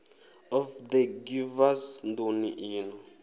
of the givers nḓuni ino